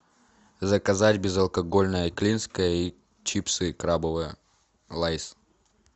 заказать безалкогольное клинское и чипсы крабовые лейс